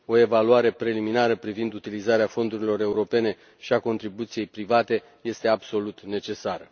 O evaluare preliminară privind utilizarea fondurilor europene și a contribuției private este absolut necesară.